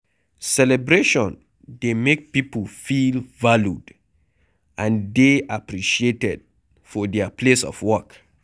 Celebration dey make pipo feel valued and dey appreciated for their place of work